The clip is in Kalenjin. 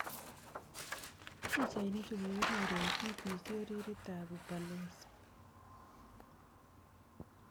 Pichainik chu kikinyor eng' BBC oritit ab Ubalozi.